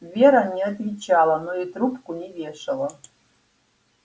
вера не отвечала но и трубку не вешала